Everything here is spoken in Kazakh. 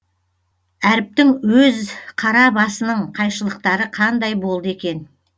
әріптің өз қара басының қайшылықтары қандай болды екен